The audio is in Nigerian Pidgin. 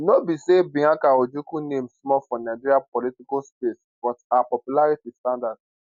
no be say bianca ojukwu name small for nigeria political space but her popularity stand out